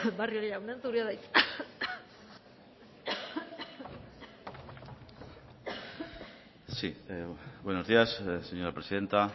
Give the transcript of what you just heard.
barrio jauna zurea da hitza sí buenos días señora presidenta